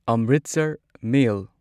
Amritsar ꯃꯦꯜ